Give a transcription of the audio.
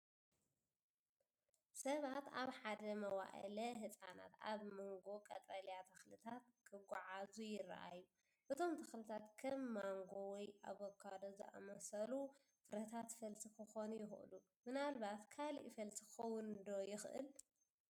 ሰባት ኣብ ሓደ መዋእለ ህጻናት ኣብ መንጎ ቀጠልያ ተኽልታት ክጓዓዙ ይረኣዩ። እቶም ተኽልታት ከም ማንጎ ወይ ኣቮካዶ ዝኣመሰሉ ፍረታት ፈልሲ ክኾኑ ይኽእሉ። ምናልባት ካልእ ፈልሲ ክኸውን ዶ ይኽእል?